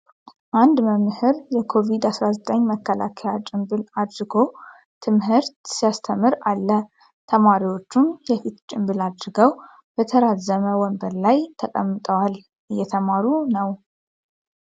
አንድ መምህር የኮቪድ-19 መከላከያ ጭንብል አድርጎ ትምህርት ሲያስተምር አለ ። ተማሪዎቹም የፊት ጭንብል አድርገው በተራዘመ ወንበር ላይ ተቀምጠዋል እየተማሩ ነው።